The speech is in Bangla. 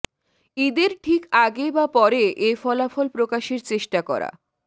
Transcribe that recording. ঈদের ঠিক আগে বা পরে এ ফলাফল প্রকাশের চেষ্টা করা